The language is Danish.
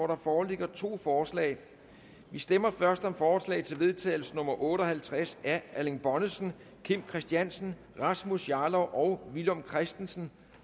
der foreligger to forslag vi stemmer først om forslag til vedtagelse nummer v otte og halvtreds af erling bonnesen kim christiansen rasmus jarlov og villum christensen